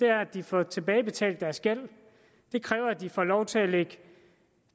er at de får tilbagebetalt deres gæld det kræver at de får lov til at lægge